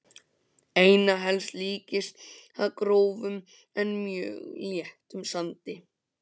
Einna helst líktist það grófum en mjög léttum sandi.